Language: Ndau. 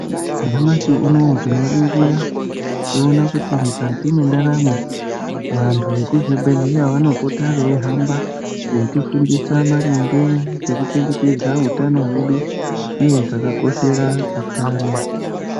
Nyamashi unowu tinoringira toona kuti mukati mwendaramo vantu vekuzvibhehleya vanopota veihamba veitifundisa maringe ngekuchengetedza utano hwedu uye zvakakoshera utano.